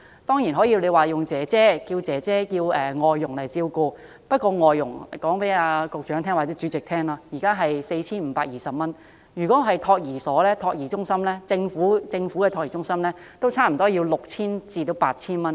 當然，可以聘請外傭照顧小孩，但我想告訴局長或主席，聘請外傭的費用為每月 4,520 元，而政府的託兒中心收費也是差不多 6,000 元至 8,000 元。